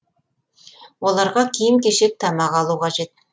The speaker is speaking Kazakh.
оларға киім кешек тамақ алу қажет